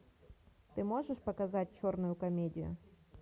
ты можешь показать черную комедию